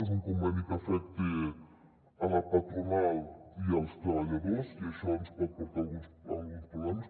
és un conveni que afecta la patronal i els treballadors i això ens pot portar alguns pro·blemes